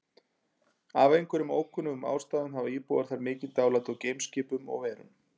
Af einhverjum ókunnum ástæðum hafa íbúar þar mikið dálæti á geimskipum og-verum.